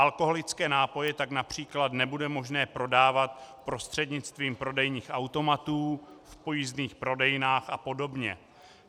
Alkoholické nápoje tak například nebude možné prodávat prostřednictvím prodejních automatů, v pojízdných prodejnách a podobně.